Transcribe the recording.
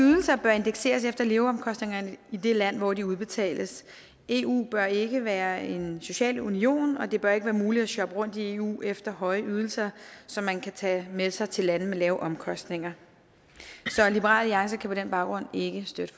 ydelser bør indekseres efter leveomkostningerne i det land hvor de udbetales eu bør ikke være en social union og det bør ikke være muligt at shoppe rundt i eu efter høje ydelser som man kan tage med sig til lande med lave omkostninger så liberal alliance kan på den baggrund ikke støtte